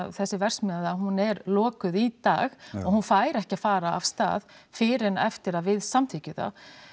þessi verksmiðja hún er lokuð í dag og hún fær ekki að fara af stað fyrr en eftir að við samþykkjum það